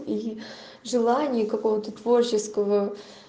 и желание какого-то творческого